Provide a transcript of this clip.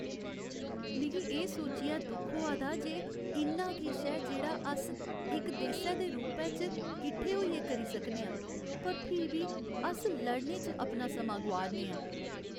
मिगी एह् सोच्चियै दुख होआ दा जे इन्ना किश ऐ जेह्ड़ा अस इक देसै दे रूपै इच्च किट्ठे होइयै करी सकने आं पर फ्ही बी अस लड़ने च अपना समां गोआ'रने आं ।